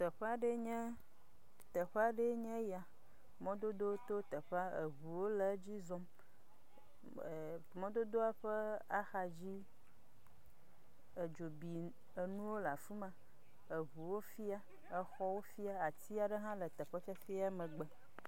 Teƒe aɖee nye, teƒe aɖee nye ya mɔdodowo to teƒe eŋuwo le edzi zɔm, eh mɔdodoa ƒe axa dzi, edzo bi enuwo le afima. Eŋuwo fia, exɔwo fia, ati aɖe hã le teƒe fia megbe.